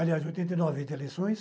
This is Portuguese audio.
Aliás, oitenta e nove as eleições.